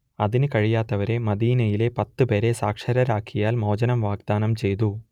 അതിന് കഴിയാത്തവരെ മദീനയിലെ പത്ത് പേരെ സാക്ഷരരാക്കിയാൽ മോചനം വാഗ്ദാനം ചെയ്തു